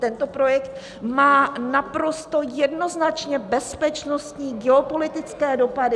Tento projekt má naprosto jednoznačně bezpečnostní geopolitické dopady.